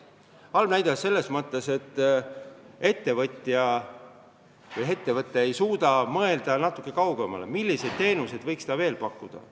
Halb näide selles mõttes, et ettevõtja ei suuda mõelda natuke kaugemale, milliseid teenuseid võiks ta veel pakkuda.